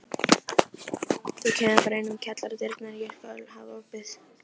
Þú kemur bara inn um kjallaradyrnar, ég skal hafa opið.